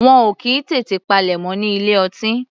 Wọn ò kì í tètè palẹ̀mọ́ ní ilé ọtí.